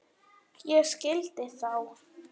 Ég skildi þá.